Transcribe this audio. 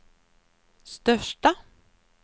största